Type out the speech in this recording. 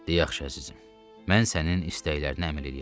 Yaxşı, əzizim, mən sənin istəklərinə əməl eləyərəm.